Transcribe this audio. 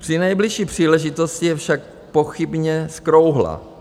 Při nejbližší příležitosti je však pochybně skrouhla.